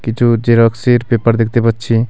কিছু জেরক্সের পেপার দেখতে পাচ্ছি.